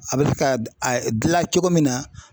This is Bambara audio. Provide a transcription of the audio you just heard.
A bɛ se ka a dilan cogo min na.